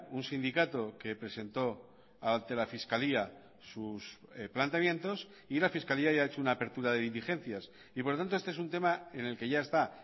un sindicato que presentó ante la fiscalía sus planteamientos y la fiscalía ya ha hecho una apertura de diligencias y por lo tanto este es un tema en el que ya está